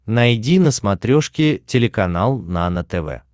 найди на смотрешке телеканал нано тв